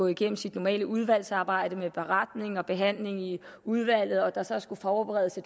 igennem sit normale udvalgsarbejde med beretning og behandling i udvalget og så forberedelse